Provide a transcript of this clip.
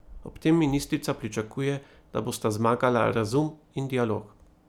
Ob tem ministrica pričakuje, da bosta zmagala razum in dialog.